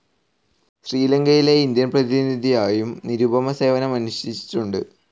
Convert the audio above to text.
ശ്രീലങ്കയിലെ ഇന്ത്യൻ പ്രതിനിധിയായും നിരുപമ സേവനമനുഷ്ഠിച്ചിട്ടുണ്ട്.